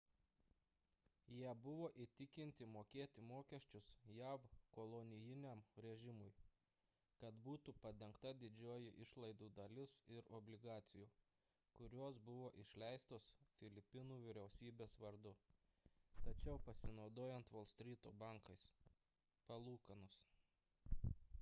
jie buvo įtikinti mokėti mokesčius jav kolonijiniam režimui kad būtų padengta didžioji išlaidų dalis ir obligacijų kurios buvo išleistos filipinų vyriausybės vardu tačiau pasinaudojant volstryto bankais palūkanos